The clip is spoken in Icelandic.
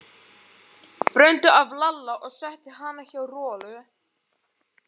Bröndu af Lalla og setti hana hjá Rolu.